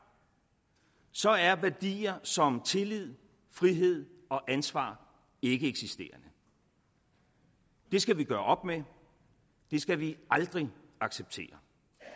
så er værdier som tillid frihed og ansvar ikkeeksisterende det skal vi gøre op med det skal vi aldrig acceptere